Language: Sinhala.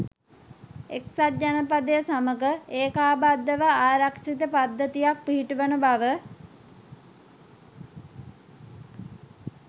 එක්සත් ජනපදය සමඟ ඒකාබද්ධ ව ආරක්‍ෂිත පද්ධතියක් පිහිටුවන බව